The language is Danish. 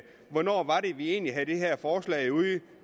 hvornår var det egentligt